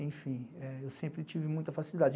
Enfim, eu sempre tive muita facilidade.